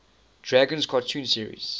dragons cartoon series